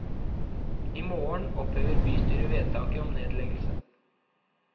I morgen opphever bystyret vedtaket om nedleggelse.